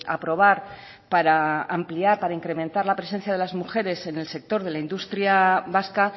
aprobar para ampliar para incrementar la presencia de las mujeres en el sector de la industria vasca